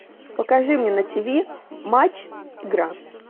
покажи мне на тв матч игра